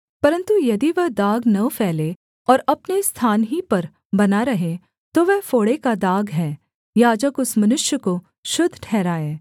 परन्तु यदि वह दाग न फैले और अपने स्थान ही पर बना रहे तो वह फोड़े का दाग है याजक उस मनुष्य को शुद्ध ठहराए